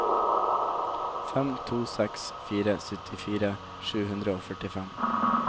fem to seks fire syttifire sju hundre og førtifem